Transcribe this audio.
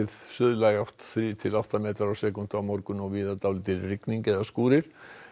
suðlæg átt þrír til átta metrar á sekúndu á morgun og víða dálítil rigning eða skúrir